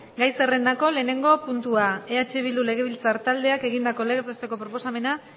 egun on gai zerrendako lehenengo puntua eh bildu legebiltzar taldeak egindako legez besteko proposamena